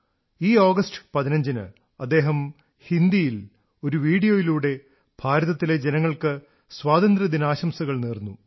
ഈ ആഗസ്റ്റ് 15 ന് അദ്ദേഹം ഹിന്ദിയിൽ ഒരു വീഡിയോയിലൂടെ ഭാരതത്തിലെ ജനങ്ങൾക്ക് സ്വാതന്ത്ര്യദിനാശംസകൾ നേർന്നു